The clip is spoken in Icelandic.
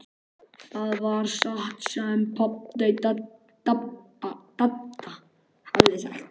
Það var satt sem Dadda hafði sagt.